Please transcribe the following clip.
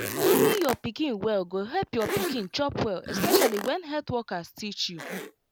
carrying your pikin well go help your pikin chop well especially when health workers teach you.